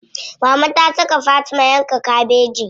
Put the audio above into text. Mama ta saka Fatima yanka kabeji.